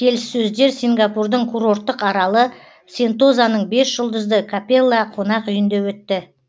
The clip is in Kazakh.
келіссөздер сингапурдың курорттық аралы сентозаның бес жұлдызды капелла қонақ үйінде өтті